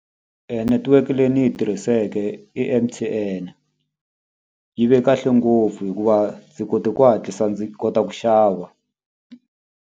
Netiweke leyi ni yi tirhiseke i M_T_N. Yi ve kahle ngopfu hikuva ndzi kote ku hatlisa ndzi kota ku xava.